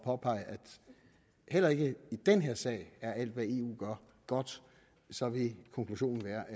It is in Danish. påpege at heller ikke i den her sag er alt hvad eu gør godt så vil konklusionen være